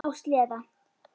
Á sleða.